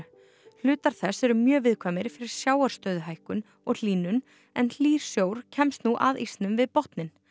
hlutar þess eru mjög viðkvæmir fyrir og hlýnun en hlýr sjór kemst nú að ísnum við botninn